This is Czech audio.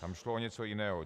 Tam šlo o něco jiného.